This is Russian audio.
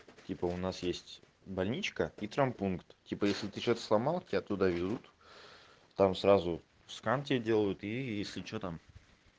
типа у нас есть больничка и травмпункт типа если ты что-то сломал тебя туда везут там сразу скан тебе делаю и если что там